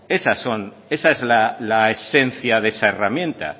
esa es la esencia de esa herramienta